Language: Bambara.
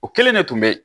O kelen de tun bɛ yen